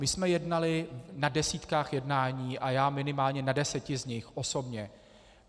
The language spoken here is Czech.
My jsme jednali na desítkách jednání a já minimálně na deseti z nich osobně.